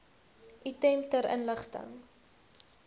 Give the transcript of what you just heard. item ter inligting